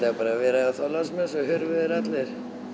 bara verið á Þorláksmessu þá hurfu þeir allir